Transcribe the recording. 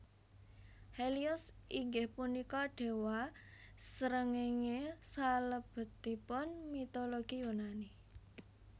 Helios inggih punika déwa srengéngé salebetipun mitologi Yunani